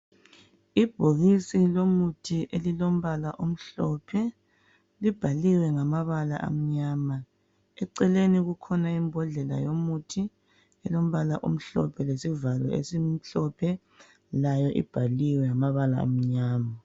Ibhokisi lomuthi elilombala omhlophe libhaliwe ngamabala amnyama eceleni kukhona imbodlela yomuthi elombala omhlophe lesivalo esimhlophe layo ibhaliwe ngamabala amnyama